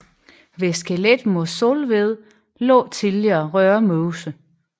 Ved skellet mod Solved lå tidligere Rørmose